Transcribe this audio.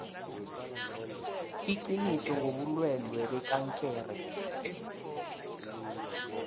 iqiniso ngobulwelwe bekankere